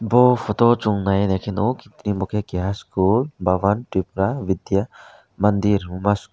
o photo o chowng nai naike nogo aboke keha school vavan tripura vidya mandir obas.